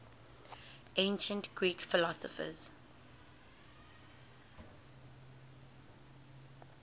ancient greek philosophers